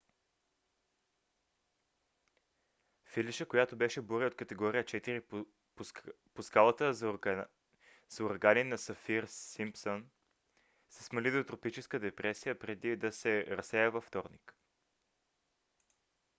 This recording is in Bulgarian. фелиша която беше буря от категория 4 по скалата за урагани на сафир-симпсън се смали до тропическа депресия преди да се разсея във вторник